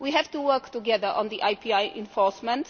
We have to work together on IPR enforcement.